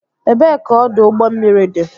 Ebee ka ọdụ ụgbọ mmiri dị?